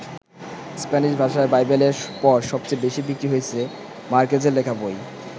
Spanish ভাষায় বাইবেলের পর সবচেয়ে বেশি বিক্রি হয়েছে মার্কেজের লেখা বই।